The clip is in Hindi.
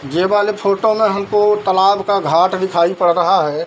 जे वाले फोटो में हमको तालाब का घाट दिखाई पड़ रहा है।